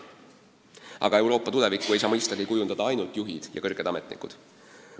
Aga Euroopa tulevikku ei saa mõistagi kujundada ainult juhid ja teised kõrged ametnikud.